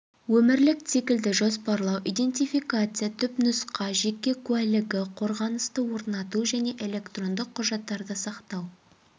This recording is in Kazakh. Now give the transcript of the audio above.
өмірлік циклды жоспарлау идентификация түпнұсқа жеке куәлігі қорғанысты орнату және электрондық құжаттарды сақтау